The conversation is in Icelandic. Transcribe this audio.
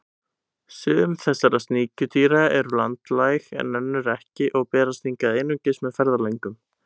Sum þessara sníkjudýra eru landlæg en önnur ekki og berast hingað einungis með ferðalöngum.